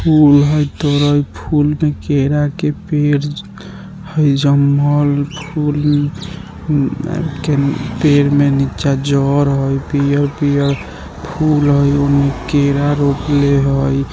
फूल हई तोड़त फूल के केरा के पेड़ हई जोवन मय फूल के पेड़ में नीचा जड़ हई पियर-पियर फूल हई ओन्ने केरा रोपले हई।